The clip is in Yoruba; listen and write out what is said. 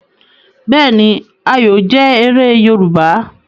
Bẹẹni, Ayọ jẹ̀ èrè Yorùbá.